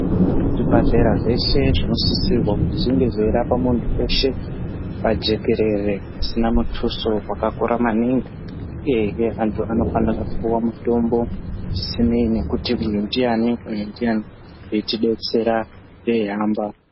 Zvibhedhlera zveshe zvinosisirwe kuti zvinge zveirapa muntu weshe pajekerere pasina muthuso wakakura maningi uye hee vantu vanofanira kupuwa mutombo zvisineni nekuti uyu ndiani uyu ndiani veitidetsera veihamba.